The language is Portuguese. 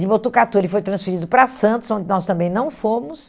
De Botucatu, ele foi transferido para Santos, onde nós também não fomos.